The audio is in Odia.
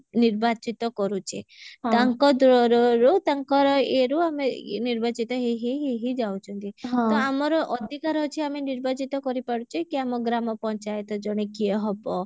ନିର୍ବାଚିତ କରୁଚେ ତାଙ୍କ ରୁ ତାଙ୍କ ଇଏ ରୁ ଆମେ ଇଏ ନିର୍ବାଚିତ ହେଇ ହେଇ ହେଇ ହେଇ ଯାଉଛନ୍ତି ତ ଆମର ଅଧିକାର ଅଛି ଆମେ ନିର୍ବାଚିତ କରିପାରୁଚେ କି ଆମ ଗ୍ରାମ ପଞ୍ଚାୟତ ଜଣେ କିଏ ହବ